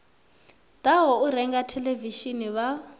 ḓaho u renga theḽevishini vha